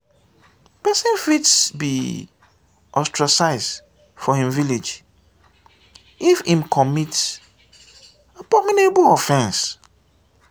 pesin fit be ostracize for im village if im commit abominable offense.